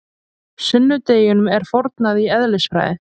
Sunnudeginum er fórnað í eðlisfræði.